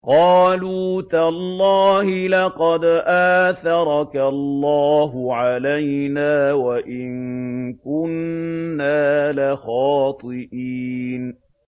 قَالُوا تَاللَّهِ لَقَدْ آثَرَكَ اللَّهُ عَلَيْنَا وَإِن كُنَّا لَخَاطِئِينَ